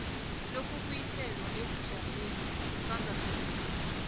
lokubuyiselwa ebujameni bangaphambilini